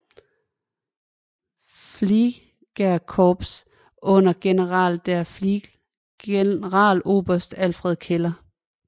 Fliegerkorps under General der Flieger Generaloberst Alfred Keller